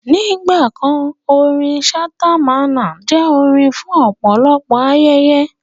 Nígbà kan, orin Ṣhata Mamman jẹ́ orin fún ọ̀pọ̀lọpọ̀ ayẹyẹ